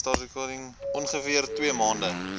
ongeveer twee maande